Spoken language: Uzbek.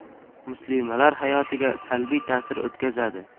Muslimalar haoyotiga salbiy ta’sir o‘tkazadi.